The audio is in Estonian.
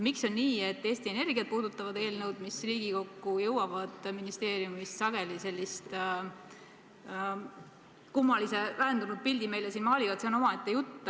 Miks on nii, et Eesti Energiat puudutavad eelnõud, mis Riigikokku jõuavad ministeeriumist, meile sageli sellise kummalise väändunud pildi siin maalivad, see on omaette jutt.